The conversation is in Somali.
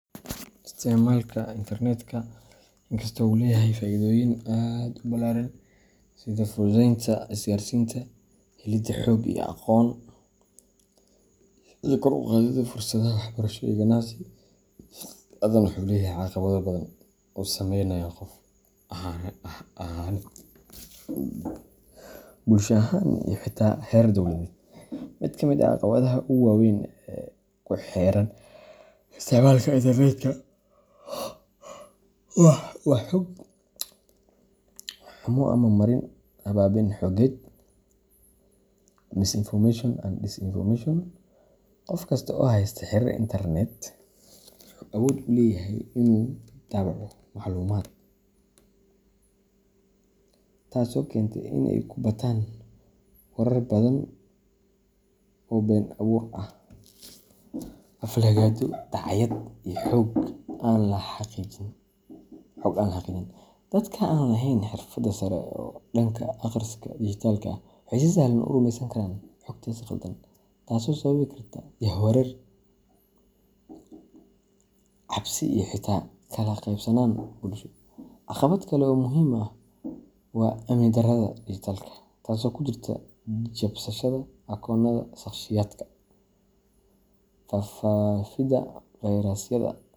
Isticmaalka internetka, inkastoo uu leeyahay faa’iidooyin aad u ballaaran sida fududeynta isgaarsiinta, helidda xog iyo aqoon, iyo kor u qaadidda fursadaha waxbarasho iyo ganacsi, haddana wuxuu leeyahay caqabado badan oo saameynaya qof ahaaneed, bulsho ahaan, iyo xitaa heer dowladeed. Mid ka mid ah caqabadaha ugu waaweyn ee ku xeeran isticmaalka internetka waa xog xumo ama marin habaabin xogeed misinformation and disinformation. Qof kasta oo haysta xiriir internet wuxuu awood u leeyahay inuu daabaco macluumaad, taasoo keentay in ay ku bataan warar been abuur ah, aflagaado, dacaayad iyo xog aan la xaqiijin. Dadka aan lahayn xirfado sare oo dhanka akhriska dhijitaalka ah waxay si sahlan u rumeysan karaan xogtaas khaldan, taasoo sababi karta jahwareer, cabsi iyo xitaa kala qaybsanaan bulsho. Caqabad kale oo muhiim ah waa amni darrada dhijitaalka ah, taasoo ku jirta jabsashada akoonnada shakhsiyaadka, faafidda fayrasyada.